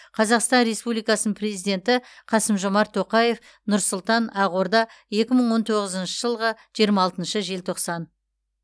қазақстан республикасының президенті қасым жомарт тоқаев нұр сұлтан ақорда екі мың он тоғызыншы жылғы жиырма алтыншы желтоқсан